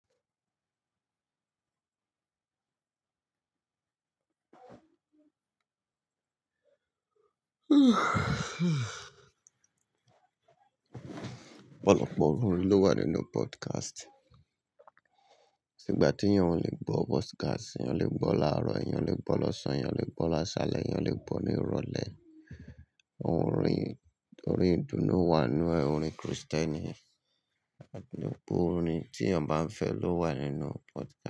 Ọ̀pọ̀lọpọ̀ orin ló wà nínú podcast. Sígbà tí èèyàn ò lè gbọ́ podcast, èèyàn lè gbọ́ láàárọ̀, èèyàn lè gbọ́ lọ́sàn-án, èèyàn lè gbọ́ lásálẹ̀, èèyàn lè gbọ́ ní ìrọ̀lẹ́. Orin, orin ìdùnnú wà n nú ẹ̀, orin Krìstẹ́nì, gbogbo orin tí èèyàn bá ń fẹ́ ló wà nínú podcast.